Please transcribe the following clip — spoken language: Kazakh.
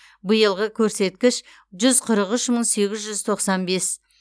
биылғы көрсеткіш жүз қырық үш мың сегіз жүз тоқсан бес